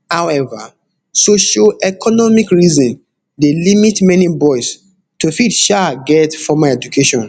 however socioeconomic reason dey limit many boys to fit um get formal education